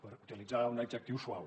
per utilitzar un adjectiu suau